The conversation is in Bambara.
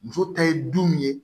Muso ta ye du min ye